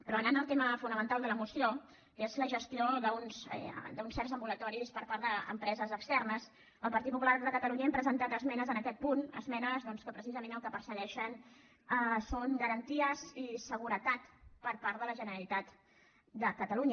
però anant al tema fonamental de la moció que és la gestió d’uns certs ambulatoris per part d’empreses externes el partit popular de catalunya hem presentat esmenes en aquest punt esmenes que precisament el que persegueixen són garanties i seguretat per part de la generalitat de catalunya